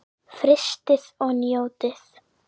Frystið og njótið.